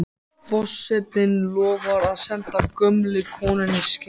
Forsetinn lofar að senda gömlu konunni skeyti.